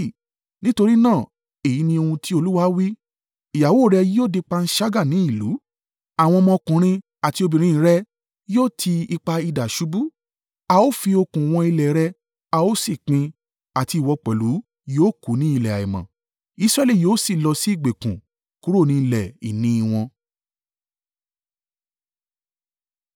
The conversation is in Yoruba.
“Nítorí náà, èyí ni ohun ti Olúwa wí: “ ‘Ìyàwó rẹ yóò di panṣágà ni ìlú, àwọn ọmọ ọkùnrin àti obìnrin rẹ yóò ti ipa idà ṣubú. A ó fi okùn wọn ilẹ̀ rẹ, a ó sì pín in àti ìwọ pẹ̀lú yóò kú ni ilẹ̀ àìmọ́. Israẹli yóò sì lọ sí ìgbèkùn, kúrò ní ilẹ̀ ìní wọn.’ ”